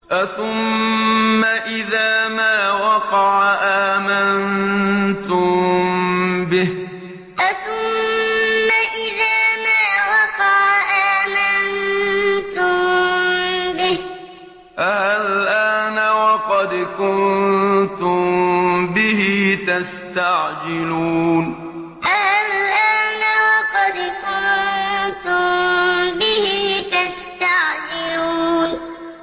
أَثُمَّ إِذَا مَا وَقَعَ آمَنتُم بِهِ ۚ آلْآنَ وَقَدْ كُنتُم بِهِ تَسْتَعْجِلُونَ أَثُمَّ إِذَا مَا وَقَعَ آمَنتُم بِهِ ۚ آلْآنَ وَقَدْ كُنتُم بِهِ تَسْتَعْجِلُونَ